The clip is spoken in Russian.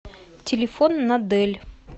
телефон надэль